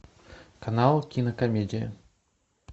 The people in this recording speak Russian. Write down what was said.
канал кинокомедия